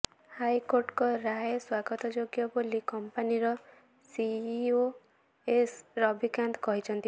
ହାଇକୋର୍ଟଙ୍କ ରାୟ ସ୍ବାଗତଯୋଗ୍ୟ ବୋଲି କଂପାନିର ସିଇଓ ଏସ୍ ରବି କାନ୍ତ କହିଛନ୍ତି